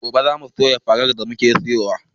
Gobe zamu soya farar da muka siyo